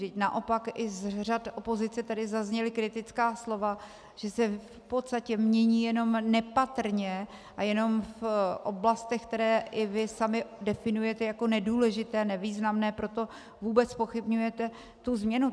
Vždyť naopak i z řad opozice tady zazněla kritická slova, že se v podstatě mění jenom nepatrně a jenom v oblastech, které i vy sami definujete jako nedůležité, nevýznamné, proto vůbec zpochybňujete tu změnu.